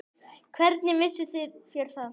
Hvernig vissuð þér það?